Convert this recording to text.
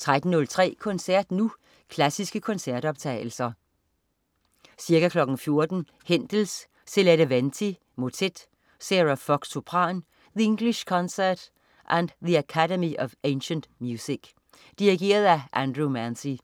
13.03 Koncert Nu. Klassiske koncertoptagelser. Ca. 14.00 Händel: Silete Venti, motet. Sarah Fox, sopran. The English Concert og The Academy of Ancient Music. Dirigent: Andrew Manze.